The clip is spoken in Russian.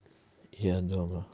я дома